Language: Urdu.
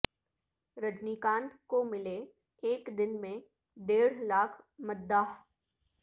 رجنی کانت کو ملے ایک دن میں ڈیڑھ لاکھ مداح